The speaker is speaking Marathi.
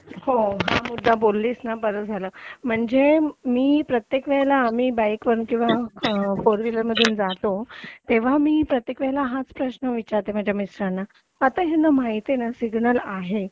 हो हा मुद्दा बोललीस ना ते फार बरं झालं म्हणजे मी प्रत्येक वेळेस बाईक वरून किंवा फोर व्हीलर मधून जातो तेव्हा मी हाच प्रश्न विचारते माझ्या मिस्टरांना आता ह्यांना माहितीये ना सिग्नल आहे